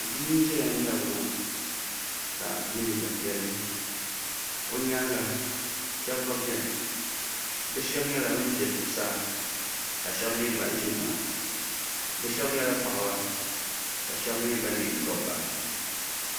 Bia n ziya n mŋɛri luŋa ka yiɛ liiga piɛlli o yɛanga shɛba gba bi shɛba zɛ la zuɣusaa ka shɛba gba mi zi tiŋa bi shɛba yɛla paɣaba ka shɛba gba mi yɛ dabiba.